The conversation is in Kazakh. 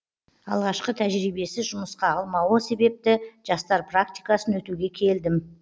алғашқы тәжірибесіз жұмысқа алмауы себепті жастар практикасын өтуге келдім